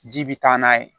Ji bi taa n'a ye